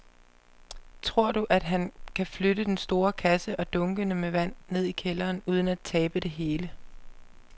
Tror du, at han kan flytte den store kasse og dunkene med vand ned i kælderen uden at tabe det hele?